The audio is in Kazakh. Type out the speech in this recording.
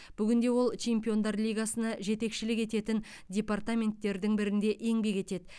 бүгінде ол чемпиондар лигасына жетекшілік ететін департаменттердің бірінде еңбек етеді